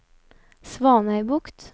Svanøybukt